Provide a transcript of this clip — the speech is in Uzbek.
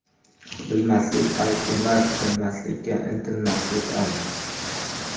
Bilmaslik ayb emas, bilmaslikka intilmaslik ayb.